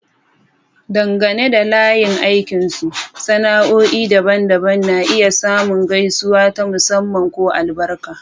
Dangane da layin aikinsu, sana'o'i daban-daban na iya samun gaisuwa ta musamman ko albarka.